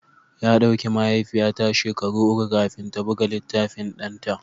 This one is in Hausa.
Ya ɗauki mahaifiyata shekaru uku kafin ta buga littafin ɗanta